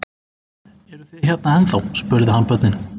Eruð þið hérna ennþá? spurði hann börnin.